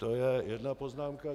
To je jedna poznámka.